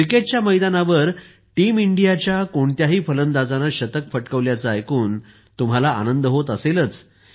क्रिकेटच्या मैदानावर टीम इंडियाच्या कोणत्याही फलंदाजाने शतक फटकावल्याचे ऐकून तुम्हाला आनंद होत असेलच